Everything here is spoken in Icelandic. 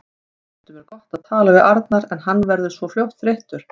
Stundum er gott að tala við Arnar en hann verður svo fljótt þreyttur.